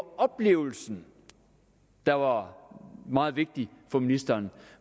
oplevelsen der var meget vigtig for ministeren